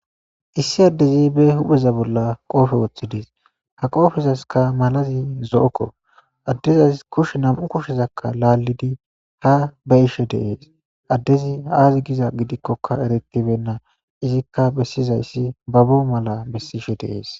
issi addezi be hupeza bolla qoofe wooththidis ha qoofizaska malazi zo7okko addezazi kushe nam7u kushezakka laallidi ha ba ishe deees addezi aazi giza gidikkoka eretibenna izikka bessizayssi babbo mala bessishe deees